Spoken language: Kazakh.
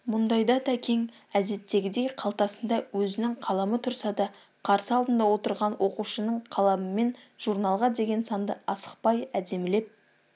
мұндайда тәкең әдеттегідей қалтасында өзінің қаламы тұрса да қарсы алдында отырған оқушының қаламымен журналға деген санды асықпай әдемілеп